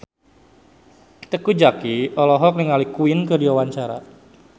Teuku Zacky olohok ningali Queen keur diwawancara